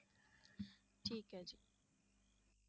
ਠੀਕ ਹੈ ਜੀ।